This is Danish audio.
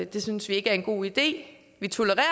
det synes vi ikke er en god idé vi tolererer